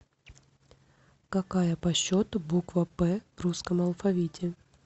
какая по счету буква п в русском алфавите